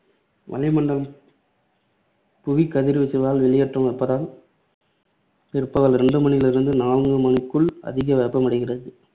வளிமண்டலம் புவிகதிர்வீச்சலால் வெளியேற்றும் வெப்பத்தால் பிற்பகல் ரெண்டு மணியிலிருந்து நான்கு மணிக்குள் அதிக வெப்பமடைகிறது.